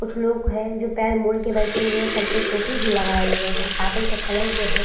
कुछ लोग है जो पैर मोड़ के बैठे हुए है। सर पे टोपी भी लगाए हुए हैं। कार्पेट का कलर जो है --